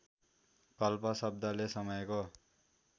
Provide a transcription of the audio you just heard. कल्प शब्दले समयको